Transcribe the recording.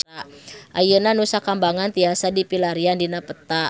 Ayeuna Nusa Kambangan tiasa dipilarian dina peta